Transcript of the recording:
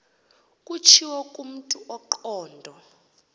kutshiwo kumntu ongqondo